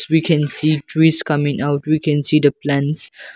we can see trees coming out we can see the plants.